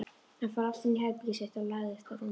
Hann fór aftur inní herbergið sitt og lagðist á rúmið.